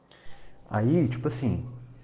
а её посидим